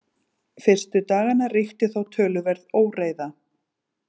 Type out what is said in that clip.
Fyrstu daganna ríkti þó töluverð óreiða.